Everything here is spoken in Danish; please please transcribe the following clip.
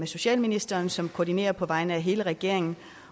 socialministeren som koordinerer på vegne af hele regeringen